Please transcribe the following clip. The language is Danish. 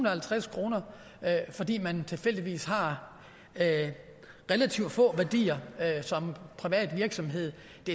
og halvtreds kr fordi man tilfældigvis har relativt få værdier som privat virksomhed